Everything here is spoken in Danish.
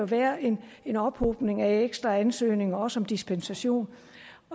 være en en ophobning af ekstra ansøgninger også om dispensation